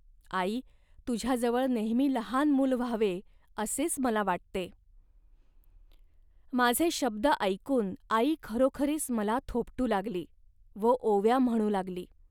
आई तुझ्याजवळ नेहमी लहान मूल व्हावे, असेच मला वाटते. माझे शब्द ऐकून आई खरोखरीच मला थोपटू लागली व ओव्या म्हणू लागली